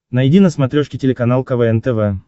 найди на смотрешке телеканал квн тв